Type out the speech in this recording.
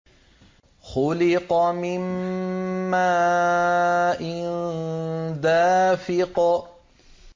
خُلِقَ مِن مَّاءٍ دَافِقٍ